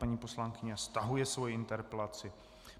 Paní poslankyně stahuje svoji interpelaci.